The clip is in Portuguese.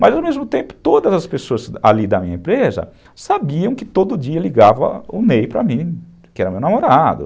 Mas, ao mesmo tempo, todas as pessoas ali da minha empresa sabiam que todo dia ligava o Ney para mim, que era meu namorado.